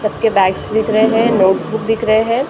सब के बैग्ज दिख रहे हैं नॉटबुक दिख रहे हैं ।